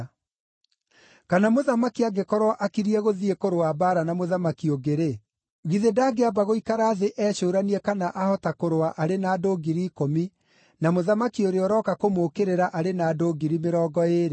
“Kana mũthamaki angĩkorwo akiriĩ gũthiĩ kũrũa mbaara na mũthamaki ũngĩ-rĩ, githĩ ndangĩamba gũikara thĩ ecũũranie kana ahota kũrũa arĩ na andũ ngiri ikũmi na mũthamaki ũrĩa ũroka kũmũũkĩrĩra arĩ na andũ ngiri mĩrongo ĩĩrĩ?